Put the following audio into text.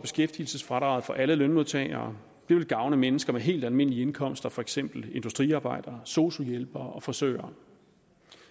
beskæftigelsesfradraget for alle lønmodtagere det vil gavne mennesker med helt almindelige indkomster for eksempel industriarbejdere sosu hjælpere og frisører